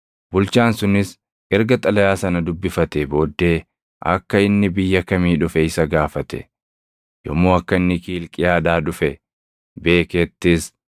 Bulchaan sunis erga xalayaa sana dubbifatee booddee, akka inni biyya kamii dhufe isa gaafate. Yommuu akka inni Kiilqiyaadhaa dhufe beekettis,